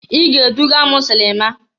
I ga-eduga m silima!